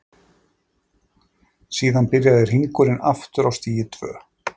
Síðan byrjar hringurinn aftur á stigi tvö.